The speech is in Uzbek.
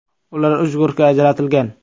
Ular uch guruhga ajratilgan.